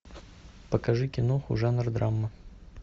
покажи киноху жанр драма